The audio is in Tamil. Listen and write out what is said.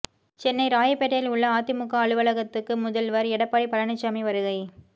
சென்னை ராயப்பேட்டையில் உள்ள அதிமுக அலுவலகத்துக்கு முதல்வர் எடப்பாடி பழனிச்சாமி வருகை